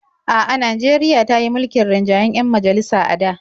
A'a, Najeriya ta yi mulkin rinjayen 'yan majalisa a da.